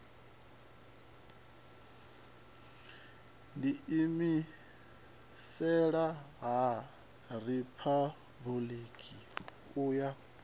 ḓiimisela ha riphabuliki u ya